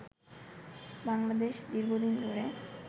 বাংলাদেশ দীর্ঘদিন ধরে